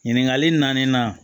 Ɲininkali naani na